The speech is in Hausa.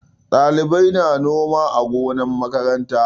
Ɗalibai na noma a gonar makaranta.